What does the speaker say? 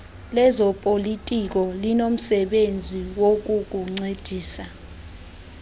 lezopolitiko linomsebenzi wokukuncedisa